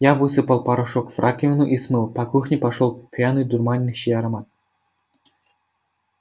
я высыпал порошок в раковину и смыл по кухне пошёл пряный дурманящий аромат